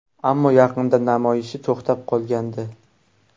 Ammo yaqinda namoyishi to‘xtab qolgandi .